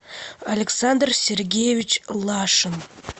александр сергеевич лашин